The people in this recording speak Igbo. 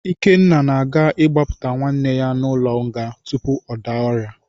Ikenna na-aga ịgbapụta nwanne ya n’ụlọ nga tupu ọ daa ọrịa.